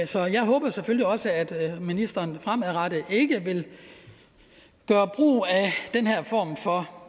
så jeg håber selvfølgelig også at ministeren fremadrettet ikke vil gøre brug af den her form for